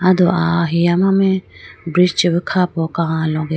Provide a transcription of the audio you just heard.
atu ahiya mame bridge chibu khapo kaloge.